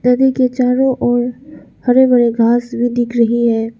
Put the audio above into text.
नदी के चारों ओर हरे भरे घास भी दिख रही है।